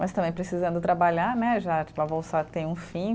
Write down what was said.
Mas também precisando trabalhar né, já tipo a bolsa tem um fim.